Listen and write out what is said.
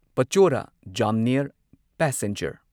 Pachora Jamner passenger